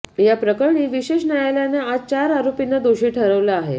या प्रकरणी विशेष न्यायालयानं आज चार आरोपींना दोषी ठरवलं आहे